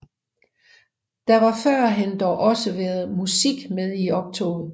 Der har førhen dog også været musik med i optoget